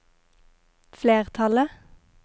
flertallet